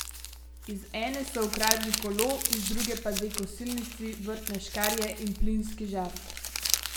Iz ene so ukradli kolo, iz druge pa dve kosilnici, vrtne škarje in plinski žar.